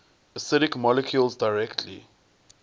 acidic molecules directly